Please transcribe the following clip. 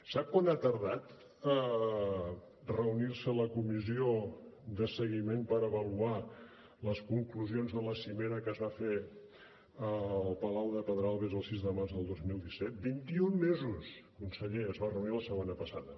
sap quant ha tardat a reunir se la comissió de seguiment per avaluar les conclusions de la cimera que es va fer al palau de pedralbes el sis de març del dos mil disset vint i un mesos conseller es va reunir la setmana passada